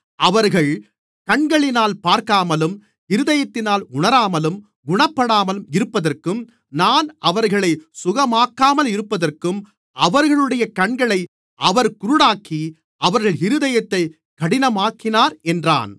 அவர்கள் கண்களினால் பார்க்காமலும் இருதயத்தினால் உணராமலும் குணப்படாமலும் இருப்பதற்கும் நான் அவர்களைச் சுகமாக்காமல் இருப்பதற்கும் அவர்களுடைய கண்களை அவர் குருடாக்கி அவர்கள் இருதயத்தைக் கடினமாக்கினார் என்றான்